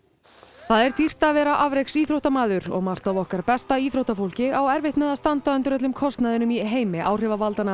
það er dýrt að vera og margt af okkar besta íþróttafólki á erfitt með að standa undir öllum kostnaðinum í heimi áhrifavaldanna